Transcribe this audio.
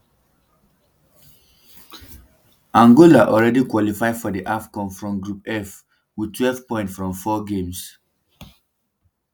angola already qualify for di afcon from group f wit twelve points from four games